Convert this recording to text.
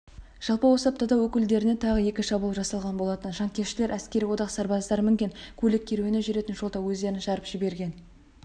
жалпы осы аптада өкілдеріне тағы екі шабуыл жасалған болатын жанкештілер әскери одақ сарбаздары мінген көлік керуені жүретін жолда өздерін жарып жіберген